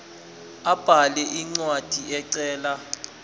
abhale incwadi ecela